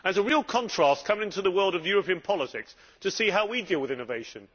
It was a real contrast, coming to the world of European politics, to see how we dealt with innovation.